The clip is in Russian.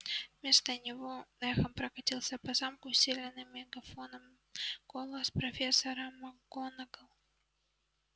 вместо него эхом прокатился по замку усиленный мегафоном голос профессора макгонагалл